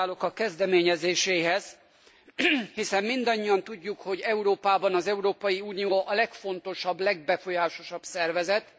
Gratulálok a kezdeményezéséhez, hiszen mindannyian tudjuk, hogy Európában az Európai Unió a legfontosabb, legbefolyásosabb szervezet.